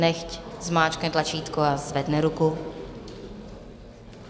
Nechť zmáčkne tlačítko a zvedne ruku.